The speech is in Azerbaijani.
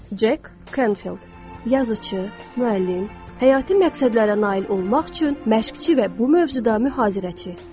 Jack Canfield, yazıcı, müəllim, həyati məqsədlərə nail olmaq üçün məşqçi və bu mövzuda mühazirəçi.